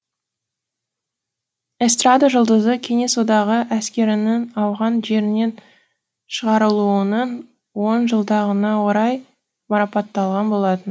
эстрада жұлдызы кеңес одағы әскерінің ауған жерінен шығарылуының он жылдығына орай марапатталған болатын